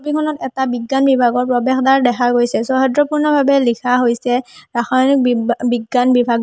ছবিখনত এটা বিজ্ঞান বিভাগৰ প্ৰবেশদ্বাৰ দেখা গৈছে সহদ্ৰপূৰ্ণভাৱে লিখা হৈছে ৰাসায়নিক বিজ্ঞা বিজ্ঞান বিভাগ --